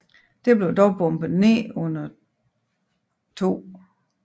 Det blev dog bombet ned under 2